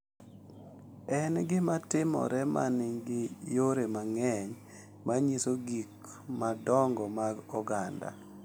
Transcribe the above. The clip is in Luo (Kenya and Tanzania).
En gima timore ma nigi yore mang’eny ma nyiso gik madongo mag oganda,